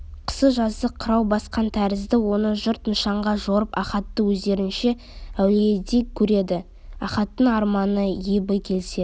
қысы-жазы қырау басқан тәрізді оны жұрт нышанға жорып ахатты өздерінше әулиедей көреді ахаттың арманы ебі келсе